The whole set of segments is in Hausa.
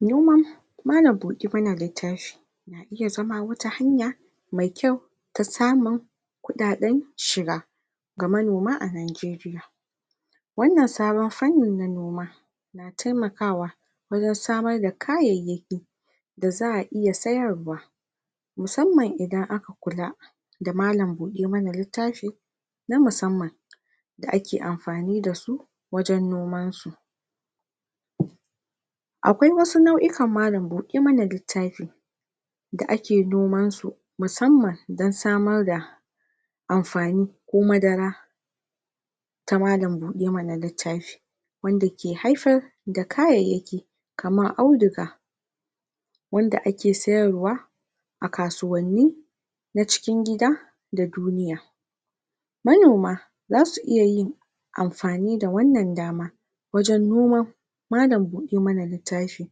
Noma, na iya zama wata hanya mai kyau ta samun kuɗaɗen shiga ga manoma a Najeriya. Wannn sabon fannin na noma na taimakawa wajen samar da kayayyaki, da za'a iya sayarwa musamman idan aka kula da malam buɗe man littafi na musamman da ake amfani da su wajen nomansu. Akwai wasu nau'ikan malam buɗe mana littafi da ake nomansu musamman don samar da amfani, ko madara ta malam buɗe mana littafi wanda ke haifar da kayayyaki kamar audiga, wanda ake sayarwa a kasuwanni na cikin gida da duniya. Manoma za su iya yin amfani da wannan dama wajen noma malam buɗe mana littafi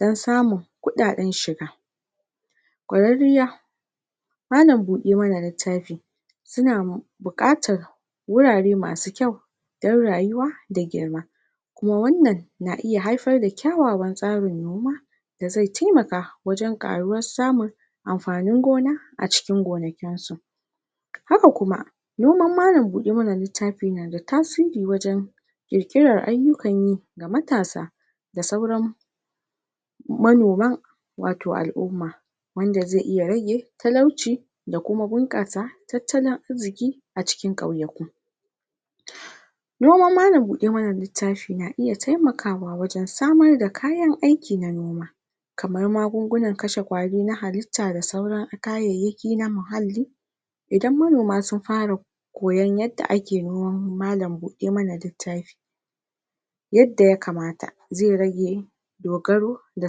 don samun kuɗaɗen shiga ƙwararriya. Malam buƙe mana littafi suna buƙatar wurare masu kyau, don rayuwa da girma. Kuma wannan na iya haifar da ƙyawawan tsarin noma, da zai taimaka wajen ƙaruwar samun amfanin gona a cikin gonakinsu. Haka kuma, noman malam buɗe mana littafi yana da tasiri wajen ƙirƙirar ayukan yi ga matasa da sauran manoma, wato al'umma wanda zai iya rage talauci, da kuma bunƙasa tattalin arziƙi a cikin ƙauyaku. Noman Malam buɗe mana littafi na iya taimakawa samar da kayan aikin noma. Kamar magungunan kashe ƙwari na halitta da da sauran kayayyaki na muhalli, Idan manoma sun fara koyan yadda ake noman malam buɗe mana littafi yadda ya kamata zai rage dogaro ga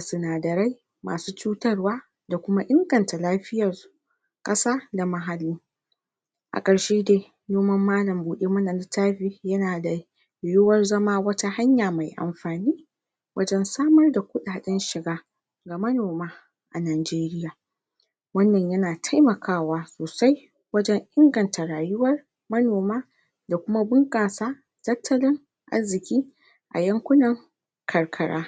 sinadarai masu cutarwa, da kuma inganta lafiyar ƙasa da muhalli. A ƙarshe dai noman mlam buɗe mana littafi yana da yiwuwar zama wata hanya mai amfani wajen samar da kuɗaɗen shiga, ga manoma a Najeriya. Wannan yana taimakawa sosai wajen inganta rayuwar manoma, da kuma bunƙasa tattalin arziƙi, a yankuna karkara.